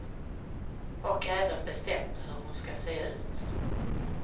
Och även bestämt hur hon ska se ut.